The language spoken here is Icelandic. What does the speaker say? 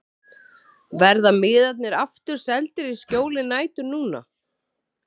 Verða miðarnir aftur seldir í skjóli nætur núna?